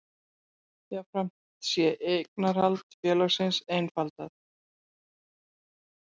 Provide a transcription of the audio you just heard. Jafnframt sé eignarhald félagsins einfaldað